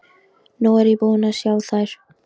Nú er ég búin að sjá þær.